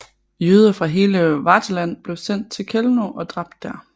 Jøder fra hele Wartheland blev sendt til Chełmno og dræbt der